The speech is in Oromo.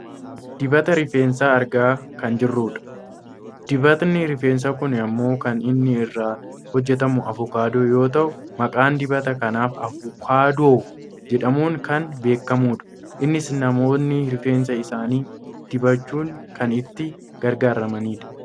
Dibata rifeensaa argaa kan jirrudha. Dibatni rifeensaa kun ammoo kan inni irraa hojjatame avocaadoo yoo ta'u maqaan dibata kanaaf avoukaadoo jedhamuun kan beekkamudha. Innis namoonni rifeensa isaanii dibachuun kan itti gargaaramanidha.